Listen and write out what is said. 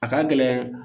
A ka gɛlɛn